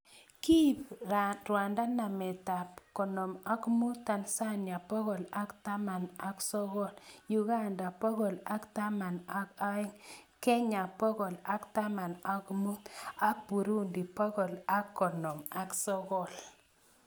Kiib Rwanda nametab konom ak mut, Tanzania bogol ak taman ak sogol, Uganda bogol ak artam ak aeng Kenya bogol ak artam ak mut ak Burundi bogol ak konom ak sogol